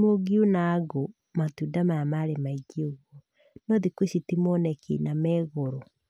mũngiuna ngũ, matunda maya marĩ maingĩ ũguo, no thikũ ici ti moneki na megoro.